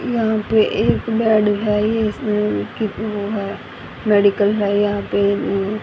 यहां पे एक बेड है ये इसमें कि वो है मेडिकल है यहां पे वो --